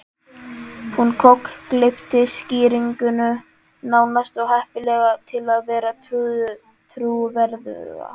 Hún kokgleypti skýringuna, nánast of heppilega til að vera trúverðuga.